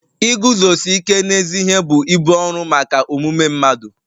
Iguzosi ike n'ezi ihe bụ ibu ọrụ maka omume mmadụ